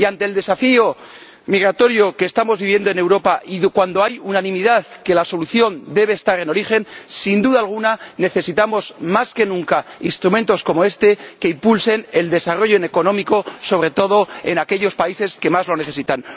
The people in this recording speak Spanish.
Y, ante el desafío migratorio que estamos viviendo en Europa, y cuando hay unanimidad en que la solución debe estar en origen, sin duda alguna, necesitamos más que nunca instrumentos como este, que impulsen el desarrollo económico, sobre todo en aquellos países que más lo necesitan.